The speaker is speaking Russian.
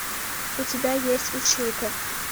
у тебя есть училка